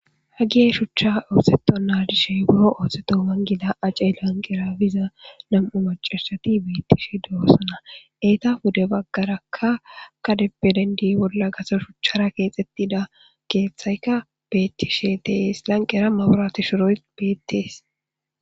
Hegee shuchcha ooseththonnaa disheegoo oosethoga naa7a ceelan giza nam7u maccaysethi beeththishe de7oosona; eta pude baggaarakka gade bolla shuchchara keexeththida keeththay beeththishe de7es; a lanqqera mabrathe shuboy beeththees.